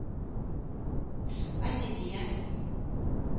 о тебе